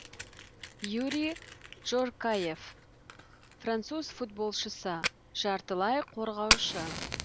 юри джоркаефф француз футболшысы жартылай қорғаушы